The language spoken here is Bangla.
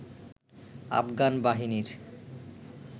আফগান বাহিনীর